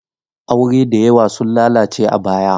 Aure da yawa sun lalace a baya.